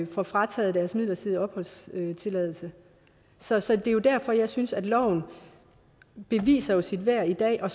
får frataget deres midlertidige opholdstilladelse så så det er jo derfor jeg synes at loven beviser sit værd i dag og